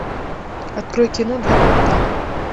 открой кино два капитана